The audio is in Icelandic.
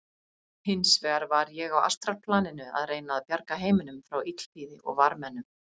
Hins vegar var ég á astralplaninu að reyna að bjarga heiminum frá illþýði og varmennum.